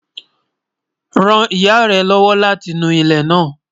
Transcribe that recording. Ràn ìyà rẹ̀ lọ́wọ́ lati nú ilẹ́ náà.